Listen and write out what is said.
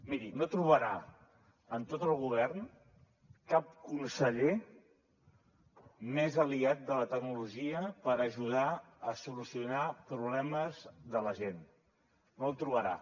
miri no trobarà en tot el govern cap conseller més aliat de la tecnologia per ajudar a solucionar problemes de la gent no el trobarà